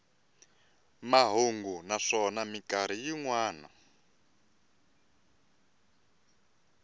mahungu naswona mikarhi yin wana